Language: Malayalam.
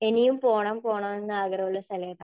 ഇനിയും പോണം പോണം എന്ന് ആഗ്രഹം ഉള്ള സ്ഥലം ഏതാ?